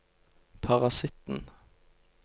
parasitten